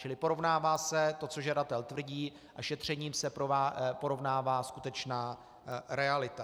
Čili porovná se to, co žadatel tvrdí, a šetřením se porovná skutečná realita.